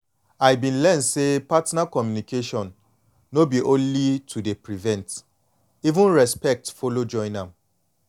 i been learn say partner communication no be only to dey prevent even respect follow join am